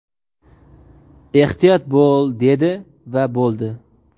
ehtiyot bo‘l dedi va bo‘ldi.